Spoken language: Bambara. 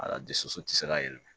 Ala dusu tɛ se ka yɛlɛma